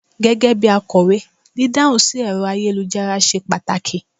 gégé bi akowe, didahun sí ẹrọ ayélujára ṣe pàtàkì